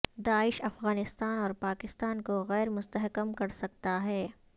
داعش افغانستان اور پاکستان کو غیر مستحکم کر سکتا ہے